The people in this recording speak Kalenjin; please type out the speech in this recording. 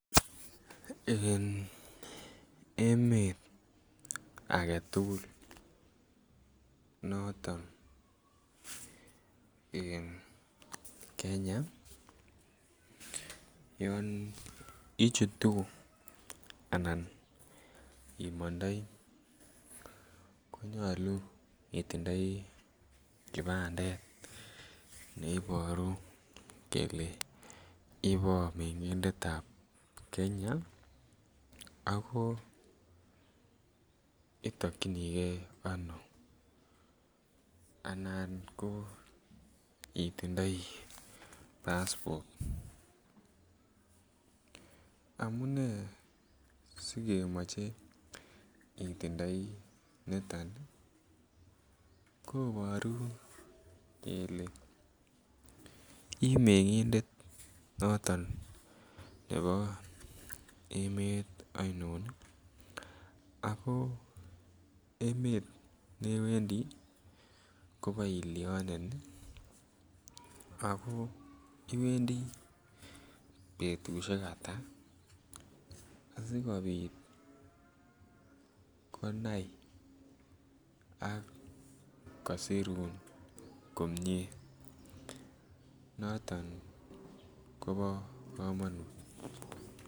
En emet age tugul noton en Kenya yon I chutu anan imondoi ko nyolu itindoi kibandet ne Iboru ibo mengindet ab Kenya ago itokyinige ano anan ko itindoi passport amune si kemoche itindoi niton koboru kele i mengindet noton nebo emet ainon ago emet newendi koboilyonen iwendi betusiek Ata asikobit konai ak kosirun komie noton kobo kamanut